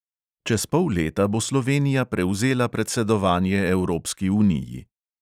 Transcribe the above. Čez pol leta bo slovenija prevzela predsedovanje evropski uniji.